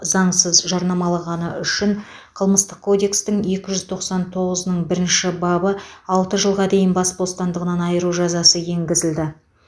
заңсыз жарнамалағаны үшін қылмыстық кодекстің екі жүз тоқсан тоғызының бірінші бабы алты жылға дейін бас бостандығынан айыру жазасы енгізілді